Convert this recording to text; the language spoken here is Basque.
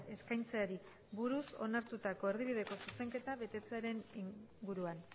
eskaintzeari buruz onartutako erdibideko zuzenketa betetzearen inguruan